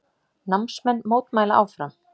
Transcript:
Námsmenn mótmæla áfram